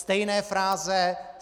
Stejné fráze.